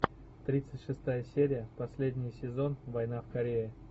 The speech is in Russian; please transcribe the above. тридцать шестая серия последний сезон война в корее